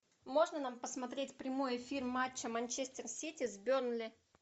можно нам посмотреть прямой эфир матча манчестер сити с бернли